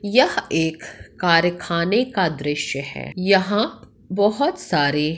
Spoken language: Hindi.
यह एक कारखाने का दृश्य है यहां बहोत सारे--